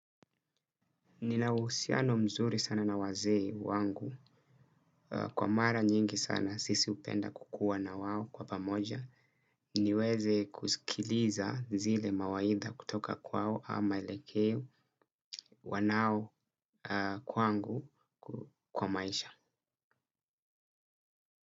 Ninausiano mzuri sana na waze wangu kwa mara nyingi sana sisi upenda kukuwa na wawo kwa pamoja niweze kuzikiliza zile mawaidha kutoka kwa wawo ama maelekeo wanao kwangu kwa maisha.